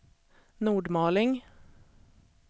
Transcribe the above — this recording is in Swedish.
Nordmaling